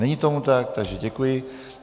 Není tomu tak, takže děkuji.